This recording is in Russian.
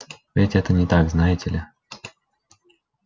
ведь это не так знаете ли